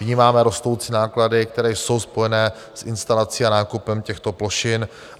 Vnímáme rostoucí náklady, které jsou spojené s instalací a nákupem těchto plošin.